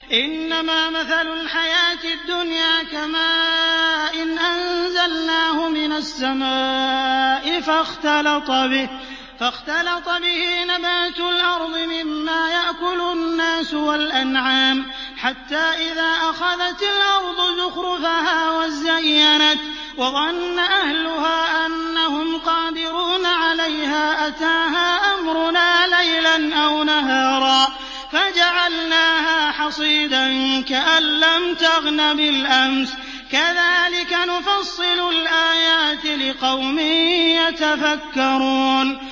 إِنَّمَا مَثَلُ الْحَيَاةِ الدُّنْيَا كَمَاءٍ أَنزَلْنَاهُ مِنَ السَّمَاءِ فَاخْتَلَطَ بِهِ نَبَاتُ الْأَرْضِ مِمَّا يَأْكُلُ النَّاسُ وَالْأَنْعَامُ حَتَّىٰ إِذَا أَخَذَتِ الْأَرْضُ زُخْرُفَهَا وَازَّيَّنَتْ وَظَنَّ أَهْلُهَا أَنَّهُمْ قَادِرُونَ عَلَيْهَا أَتَاهَا أَمْرُنَا لَيْلًا أَوْ نَهَارًا فَجَعَلْنَاهَا حَصِيدًا كَأَن لَّمْ تَغْنَ بِالْأَمْسِ ۚ كَذَٰلِكَ نُفَصِّلُ الْآيَاتِ لِقَوْمٍ يَتَفَكَّرُونَ